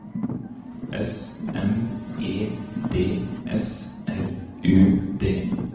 S M E D S R U D